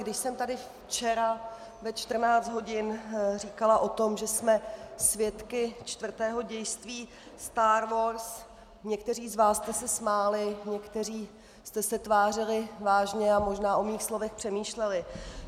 Když jsem tady včera ve 14 hodin říkala o tom, že jsme svědky čtvrtého dějství star wars, někteří z vás jste se smáli, někteří jste se tvářili vážně a možná o mých slovech přemýšleli.